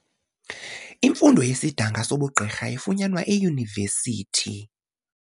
Imfundo yesidanga sobugqirha ifunyanwa eyunivesithi.